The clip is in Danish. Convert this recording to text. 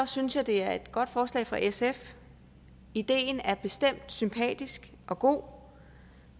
synes jeg det er et godt forslag fra sf ideen er bestemt sympatisk og god